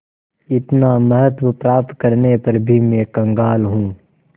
इतना महत्व प्राप्त करने पर भी मैं कंगाल हूँ